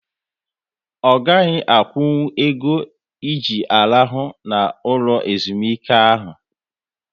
Ọ gaghị akwụnkwụ ego e ji arahu n'ụlọ ezumike ahụ